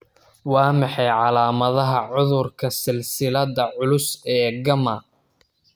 Waa maxay calaamadaha cudurka silsiladda culus ee gamma?